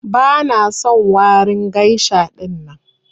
Bana son warin geisha ɗinnan.